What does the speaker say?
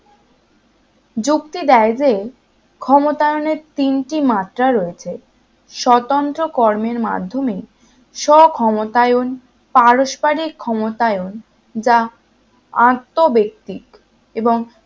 যুক্তি দেয় যে ক্ষমতায়নের তিনটি মাত্রা রয়েছে স্বতন্ত্র কর্মের মাধ্যমে স্ব ক্ষমতায়ন পারস্পরিক ক্ষমতায়ন যা আত্মব্যক্তি এবং